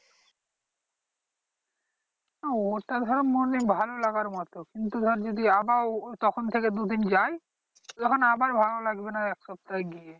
হ্যাঁ ওটা ধর মনে ভালো লাগার মতো কিন্তু ধর যদি আবার তখন থেকে দু দিন যাই তখন আবার ভালো লাগবে না এক সপ্তায় গিয়ে।